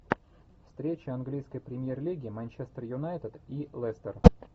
встреча английской премьер лиги манчестер юнайтед и лестер